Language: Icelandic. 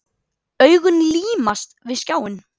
Augun límast við skjáinn.